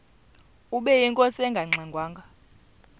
ubeyinkosi engangxe ngwanga